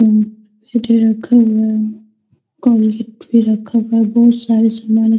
पे रखा हुआ बहुत सारा सामन |